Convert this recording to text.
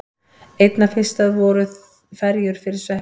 Einna fyrstar þeirra voru ferjur fyrir sveppi.